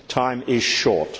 Time is short.